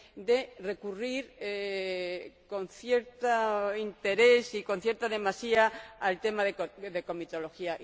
de recurrir con cierto interés y con cierta demasía al tema de la comitología.